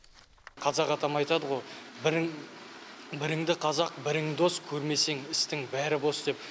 қазақ атам айтады ғой бірің біріңді қазақ бірің дос көрмесең істің бәрі бос деп